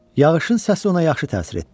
Yağışın səsi ona yaxşı təsir etdi.